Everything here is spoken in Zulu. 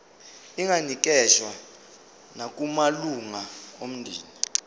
inganikezswa nakumalunga omndeni